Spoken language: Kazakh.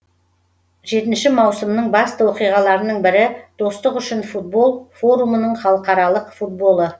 жетінші маусымның басты оқиғаларының бірі достық үшін футбол форумының халықаралық футболы